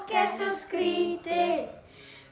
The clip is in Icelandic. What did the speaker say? er svo skrítið